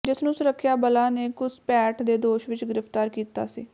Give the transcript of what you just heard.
ਜਿਸ ਨੂੰ ਸੁਰੱਖਿਆ ਬਲਾਂ ਨੇ ਘੁਸਪੈਠ ਦੇ ਦੋਸ਼ ਵਿਚ ਗ੍ਰਿਫਤਾਰ ਕੀਤਾ ਸੀ